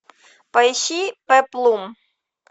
поищи пеплум